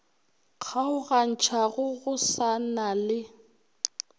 kgaogantšhago go sa na le